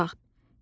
Heç vaxt.